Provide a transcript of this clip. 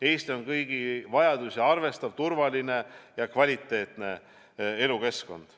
Eesti on kõigi vajadusi arvestav, turvaline ja kvaliteetne elukeskkond.